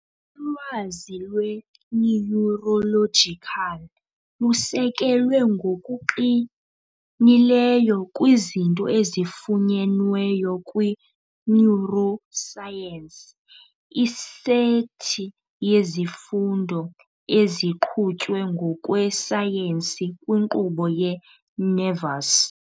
Ulwazi lwe-Neurological lusekelwe ngokuqinileyo kwizinto ezifunyenweyo kwi-neuroscience, isethi yezifundo eziqhutywe ngokwesayensi kwinkqubo ye-nervous.